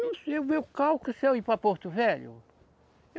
se eu ir para Porto Velho.